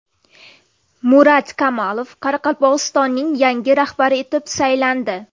Murat Kamalov Qoraqalpog‘istonning yangi rahbari etib saylandi.